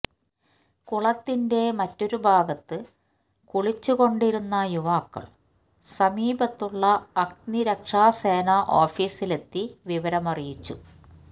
കുളത്തിന്റെ മറ്റൊരു ഭാഗത്തു കുളിച്ചുകൊണ്ടിരുന്ന യുവാക്കൾ സമീപത്തുള്ള അഗ്നിരക്ഷാസേന ഓഫീസിലെത്തി വിവരമറിയിച്ചു